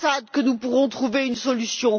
al Assad que nous pourrons trouver une solution?